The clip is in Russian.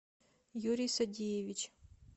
юрий садеевич